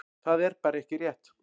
Það er bara ekki rétt.